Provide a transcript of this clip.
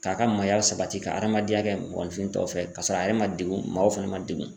K'a ka maaya sabati ka adamadenya kɛ mɔgɔninfin tɔw fɛ ka sɔrɔ a yɛrɛ ma degun maaw fɛnɛ ma degun.